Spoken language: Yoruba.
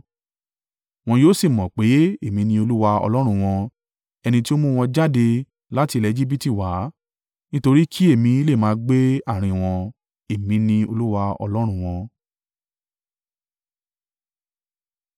Wọn yóò sì mọ̀ pé Èmi ni Olúwa Ọlọ́run wọn, ẹni tí ó mú wọn jáde láti ilẹ̀ Ejibiti wá, nítorí kí èmi lè máa gbé àárín wọn. Èmi ni Olúwa Ọlọ́run wọn.